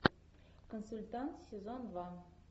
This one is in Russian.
консультант сезон два